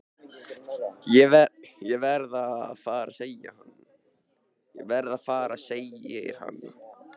Ég verð að fara segir hann.